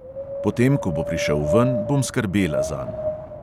Potem ko bo prišel ven, bom skrbela zanj.